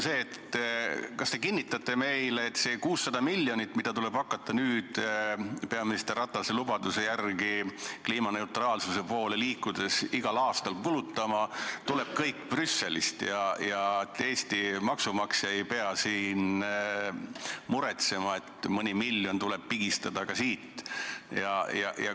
Kas te kinnitate meile, et see 600 miljonit, mida tuleb hakata nüüd peaminister Ratase lubaduse järgi kliimaneutraalsuse poole liikudes igal aastal kulutama, tuleb kõik Brüsselist ja Eesti maksumaksja ei pea muretsema, et mõni miljon tuleb pigistada ka siit?